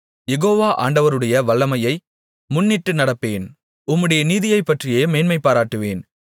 யெகோவா ஆண்டவருடைய வல்லமையை முன்னிட்டு நடப்பேன் உம்முடைய நீதியைப்பற்றியே மேன்மைபாராட்டுவேன்